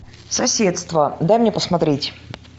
соседство дай мне посмотреть